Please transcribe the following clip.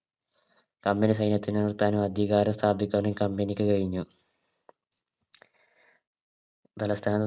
Company സൈന്യത്തിന് നിർത്താനും അധികാരം സ്ഥാപിക്കാനും Company ക്ക് കഴിഞ്ഞു തലസ്ഥാന